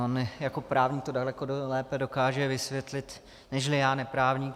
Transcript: On jako právník to daleko lépe dokáže vysvětlit nežli já neprávník.